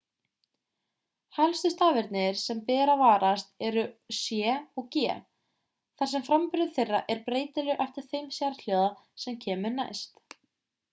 helstu stafirnir sem ber að varast eru c og g þar sem framburður þeirra er breytilegur eftir þeim sérhljóða sem kemur næst